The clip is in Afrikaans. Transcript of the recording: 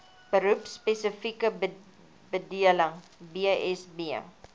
beroepspesifieke bedeling bsb